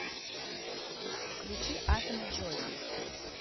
включи атомы джоззи